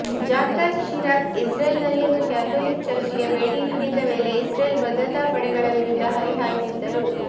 Jacques Chirac Israel ನಲ್ಲಿರುವ Catholic church ಗೆ ಭೇಟಿ ನೀಡಿದ್ದ ವೇಳೆ ಇಸ್ರೇಲ್ ಭದ್ರತಾ ಪಡೆಗಳ ವಿರುದ್ಧ ಹರಿಹಾಯ್ದಿದ್ದರು